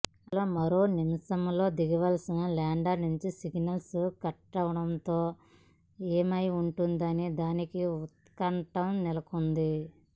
అసలు మరో నిమిషంలో దిగాల్సిన ల్యాండర్ నుంచి సిగ్నల్స్ కట్ అవ్వడంతో ఏమై ఉంటుందన్న దానిపై ఉత్కంఠ నెలకొంది